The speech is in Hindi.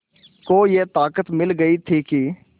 को ये ताक़त मिल गई थी कि